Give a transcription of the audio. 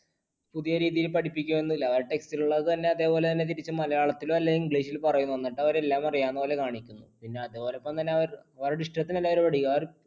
പുതിയ രീതിയിൽ പഠിപ്പിക്കുകയൊന്നുമില്ല, ആ text ൽ ഉള്ളത് തന്നെ അതേപോലെ തന്നെ തിരിച്ചും മലയാളത്തിലോ അല്ലെങ്കിൽ english ൽ പറയും എന്നിട്ട് അവർ എല്ലാം അറിയാവുന്ന പോലെ കാണിക്കുന്നു. പിന്നെ അതോടൊപ്പം അവർ